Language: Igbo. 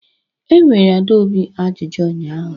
Enyere Adaobi ajụjụ ụnyahụ